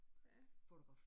Ja